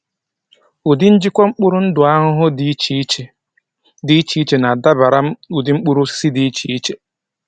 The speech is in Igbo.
Ụdị njikwa mkpụrụ ndụ ahụhụ dị iche iche dị iche iche na-adabara ụdị mkpụrụ osisi dị iche iche.